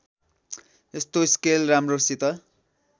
यस्तो स्केल राम्रोसित